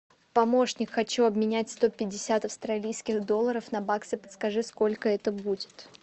помощник хочу обменять сто пятьдесят австралийских долларов на баксы подскажи сколько это будет